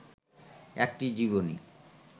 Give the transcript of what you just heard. একটি জীবনী